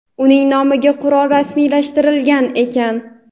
uning nomiga qurol rasmiylashtirilgan ekan.